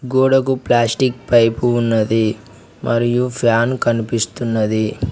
గోడకు plastic pipe ఉన్నది మరియు ఫ్యాన్ కనిపిస్తున్నది.